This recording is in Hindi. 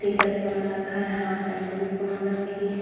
टी शर्ट पहन रखा है। हाफ पैंट भी पहन रखी है।